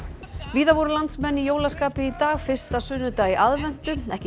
víða voru landsmenn í jólaskapi í dag fyrsta sunnudag í aðventu ekki